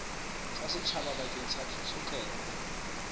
tsa setjhaba bakeng sa tshotleho